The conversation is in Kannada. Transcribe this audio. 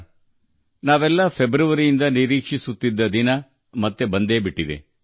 ಫೆಬ್ರವರಿಯಿಂದ ನಾವೆಲ್ಲರೂ ಬಹಳ ಕಾತರದಿಂದ ಕಾಯುತ್ತಿದ್ದ ದಿನ ಕೊನೆಗೂ ಬಂದೇ ಬಿಟ್ಟಿತು